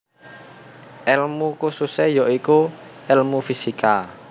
Elmu kususe ya iku elmu fisika